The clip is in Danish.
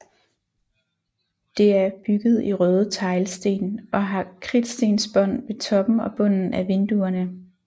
Det erbygget i røde teglsten og har kridtstensbånd ved toppen og bunden af vinduerne